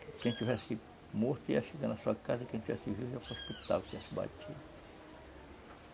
Quem tivesse morto ia chegar na sua casa, quem tivesse vivo ia para o hospital, quem tivesse batido.